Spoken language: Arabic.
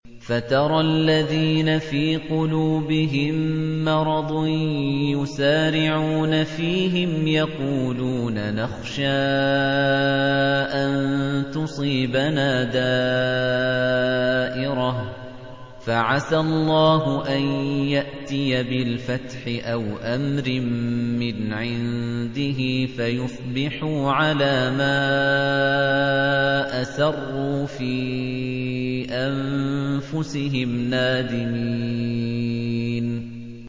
فَتَرَى الَّذِينَ فِي قُلُوبِهِم مَّرَضٌ يُسَارِعُونَ فِيهِمْ يَقُولُونَ نَخْشَىٰ أَن تُصِيبَنَا دَائِرَةٌ ۚ فَعَسَى اللَّهُ أَن يَأْتِيَ بِالْفَتْحِ أَوْ أَمْرٍ مِّنْ عِندِهِ فَيُصْبِحُوا عَلَىٰ مَا أَسَرُّوا فِي أَنفُسِهِمْ نَادِمِينَ